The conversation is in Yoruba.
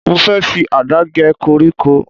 Mo fẹ́ fi Àdá gé koríko.